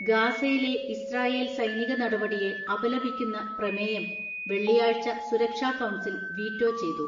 ഗാസയിലെ ഇസ്രായേൽ സൈനിക നടപടിയെ അപലപിക്കുന്ന പ്രമേയം വെള്ളിയാഴ്ച സുരക്ഷാ കൗൺസിൽ വീറ്റോ ചെയ്തു.